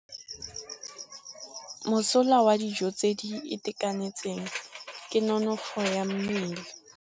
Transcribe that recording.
Mosola wa dijô tse di itekanetseng ke nonôfô ya mmele.